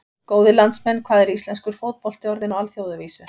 Góðir landsmenn, hvað er íslenskur fótbolti orðinn á alþjóðavísu?